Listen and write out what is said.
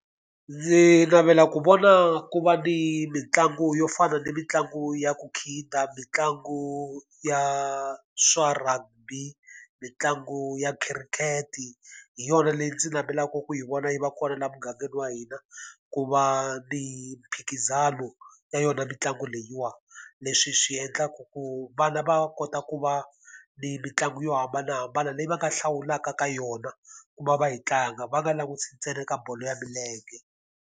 Ndzi navela ku vona ku va ni mitlangu yo fana ni mitlangu ya ku khida, mitlangu ya swa rugby, mitlangu ya khirikhete. Hi yona leyi ndzi navelaka ku yi vona yi va kona laha mugangeni wa hina, ku va ni mphikizano yona mitlangu leyiwani. Leswi swi endlaka ku vana va kota ku va ni mitlangu yo hambanahambana leyi va nga hlawulaka ka yona ku va va yi tlanga, va nga langutisi ntsena ka bolo ya milenge.